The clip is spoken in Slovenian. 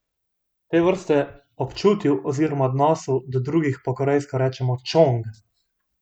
Te vrste občutju oziroma odnosu do drugih po korejsko rečemo čong.